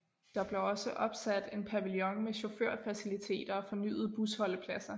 Der blev også opsat en pavillon med chaufførfaciliteter og fornyede busholdepladser